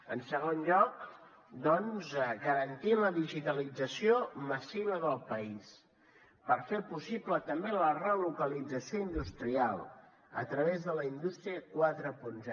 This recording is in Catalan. en segon lloc doncs garantir la digitalització massiva del país per fer possible també la relocalització industrial a través de la indústria quaranta